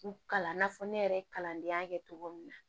U kalan fɔ ne yɛrɛ ye kalandenya kɛ cogo min na